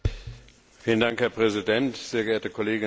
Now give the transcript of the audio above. Herr Präsident, sehr geehrte Kolleginnen und Kollegen!